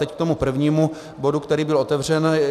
Teď k tomu prvnímu bodu, který byl otevřen.